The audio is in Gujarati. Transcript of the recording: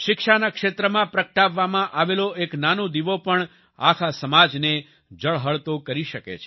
શિક્ષાના ક્ષેત્રમાં પ્રગટાવવામાં આવેલો એક નાનો દિવો પણ આખા સમાજને ઝળહળતો કરી શકે છે